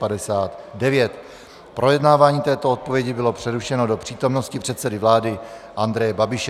Projednávání této odpovědi bylo přerušeno do přítomnosti předsedy vlády Andreje Babiše.